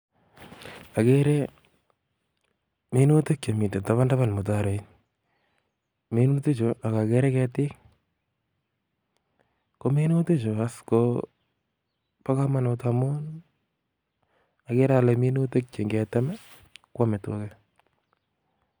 Agere minutiik chemiten tabantaban mutaroit, minutichu ak agere keetik, kominutichu as is kobo komonut amuun agere ale minutia cheingetem kwame tugaa